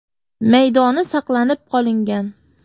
maydoni saqlanib qolingan.